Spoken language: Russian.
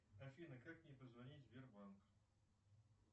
афина как мне позвонить в сбербанк